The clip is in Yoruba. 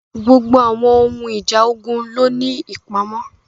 Gbogbo àwọn ohun ìjà ogun ló ní ìpamọ́.